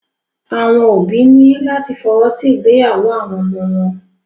Àwọn òbí ní láti fọwọ́ sí ìgbéyàwó àwọn ọmọ wọn.